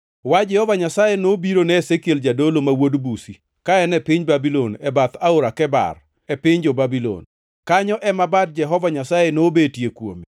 wach Jehova Nyasaye nobiro ne Ezekiel jadolo, ma wuod Buzi, ka en piny Babulon e bath Aora Kebar, e piny jo-Babulon. Kanyo ema bad Jehova Nyasaye nobetie kuome.